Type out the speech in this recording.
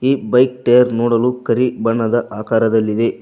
Bike tyre ನೋಡಲು ಕರಿ ಬಣ್ಣದ ಆಕಾರದಲ್ಲಿದೆ.